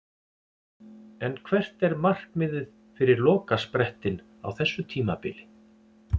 En hvert er markmiðið fyrir lokasprettinn á þessu tímabili?